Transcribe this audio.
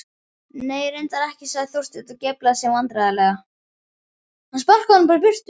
Nei, reyndar ekki sagði Þorsteinn og geiflaði sig vandræðalega.